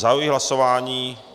Zahajuji hlasování.